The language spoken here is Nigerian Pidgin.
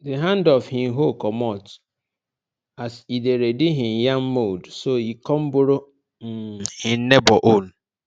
di hand of hin hoe comot as e dey ready hin yam mould so e come borrow um hin neighbour own